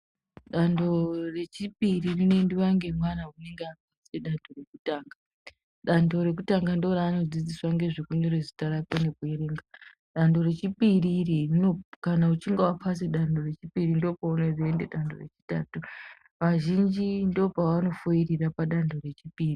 Danto rechipiri rinoendwa nemwana unenge apedza danto rekutanga. Danto rekutanga ndiro raanodzidziswa kunyora zita rake nekuerenga. Rechipiri iri kana uchinge wapase danto rechipiri ndipo paunoenda danto rechitatu. Vazhinji ndipo pavanofoirira padanto rechipiri.